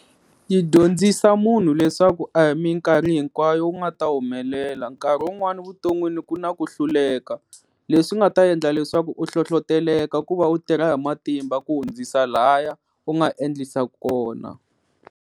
Yi dyondzisa munhu leswaku a hi minkarhi hinkwayo u nga ta humelela nkarhi wun'wani vuton'wini ku na ku hluleka leswi nga ta endla leswaku u hlohloteleka ku va u tirha hi matimba ku hundzisa laya u nga endlisa kona.